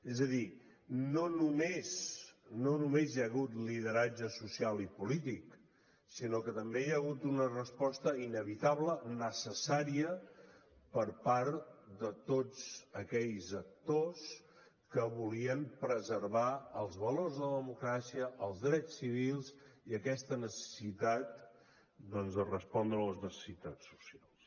és a dir no només hi ha hagut lideratge social i polític sinó que també hi ha hagut una resposta inevitable necessària per part de tots aquells actors que volien preservar els valors de la democràcia els drets civils i aquesta necessitat doncs de respondre a les necessitats socials